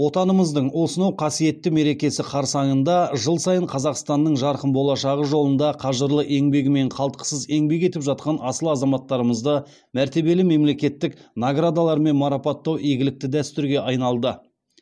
отанымыздың осынау қасиетті мерекесі қарсаңында жыл сайын қазақстанның жарқын болашағы жолында қажырлы еңбегімен қалтқысыз еңбек етіп жатқан асыл азаматтарымызды мәртебелі мемлекеттік наградалармен марапаттау игілікті дәстүрге айналды